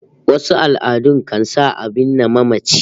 Wasu al'adun kan sa a binne mamaci